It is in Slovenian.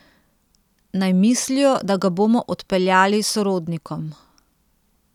Naj mislijo, da ga bomo odpeljali sorodnikom.